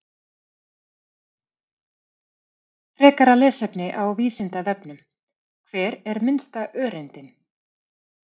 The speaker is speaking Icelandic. Frekara lesefni á Vísindavefnum: Hver er minnsta öreindin?